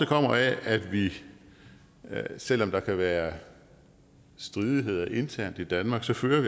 kommer af at vi selv om der kan være stridigheder internt i danmark fører